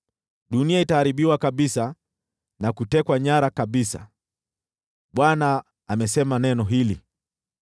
Dunia itaharibiwa kabisa na kutekwa nyara kabisa. Bwana amesema neno hili.